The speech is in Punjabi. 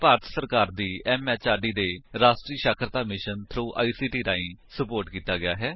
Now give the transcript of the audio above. ਇਹ ਭਾਰਤ ਸਰਕਾਰ ਦੀ ਐਮਐਚਆਰਡੀ ਦੇ ਰਾਸ਼ਟਰੀ ਸਾਖਰਤਾ ਮਿਸ਼ਨ ਥ੍ਰੋ ਆਈਸੀਟੀ ਰਾਹੀਂ ਸੁਪੋਰਟ ਕੀਤਾ ਗਿਆ ਹੈ